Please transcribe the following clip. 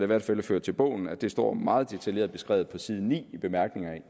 hvert fald ført til bogs at det står meget detaljeret beskrevet på side ni i bemærkningerne